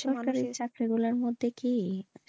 সরকারি চাকরি গুলোর মধ্যে কি,